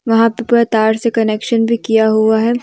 वहा पे पूरा तार से कनेक्शन भी किया हुआ है।